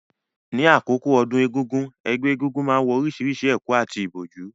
Ní àkókò àjọ̀dún egúngún, ẹgbẹ́ egúngún náà wọ orísìírísìí ẹ̀kú àti ìbòjú,